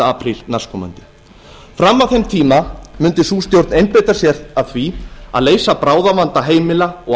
apríl næstkomandi fram að þeim tíma mundi sú stjórn einbeita sér að því að leysa bráðavanda heimila og